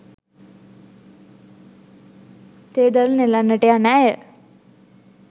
තේ දළු නෙලන්නට යන ඇය